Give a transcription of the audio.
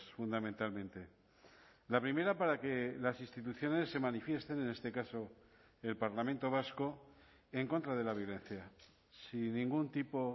fundamentalmente la primera para que las instituciones se manifiesten en este caso el parlamento vasco en contra de la violencia sin ningún tipo